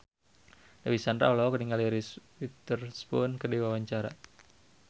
Dewi Sandra olohok ningali Reese Witherspoon keur diwawancara